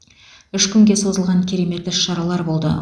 үш күнге созылған керемет іс шаралар болды